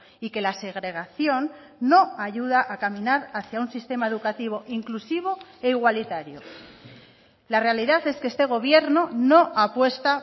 y que la segregación no ayuda a caminar hacia un sistema educativo inclusivo e igualitario la realidad es que este gobierno no apuesta